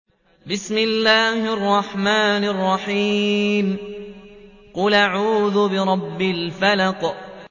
قُلْ أَعُوذُ بِرَبِّ الْفَلَقِ